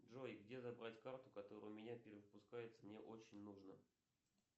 джой где забрать карту которая у меня перевыпускается мне очень нужно